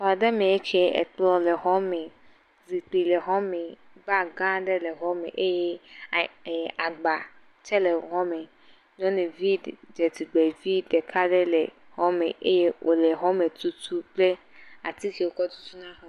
Xɔ aɖe me ŋkie, ekplɔ le xɔ me, zikpui le xɔ me, bag gã aɖe le xɔ le me eye ee agba tsɛ le xɔ le me, nyɔnuvi dzetugbe vi ɖeka ɖe le xɔ me eye wòle xɔ tutum kple ati wokɔ tutuna xɔ …